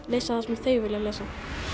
lesa það sem þau vilja lesa